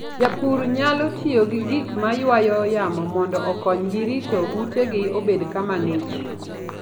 Jopur nyalo tiyo gi gik ma ywayo yamo mondo okonygi rito utegi obed kama ng'ich.